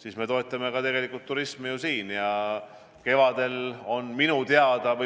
siis me tegelikult toetame ju ka turismi siin.